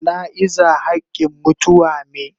Jana'iza hakin mutuwa me.